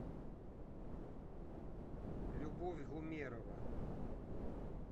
любовь гумерова